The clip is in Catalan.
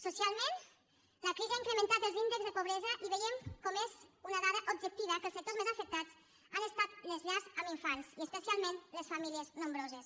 socialment la crisi ha incrementat els índexs de pobresa i veiem com és una dada objectiva que els sectors més afectats han estat les llars amb infants i especialment les famílies nombroses